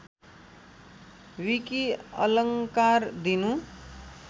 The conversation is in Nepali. विकि अलङ्कार दिनु